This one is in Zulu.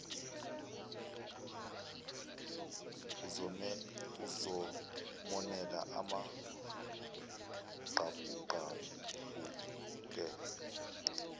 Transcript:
uzomonela amaqabuqabu akhe